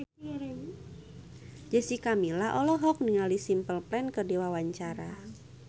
Jessica Milla olohok ningali Simple Plan keur diwawancara